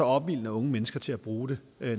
opildner unge mennesker til at bruge det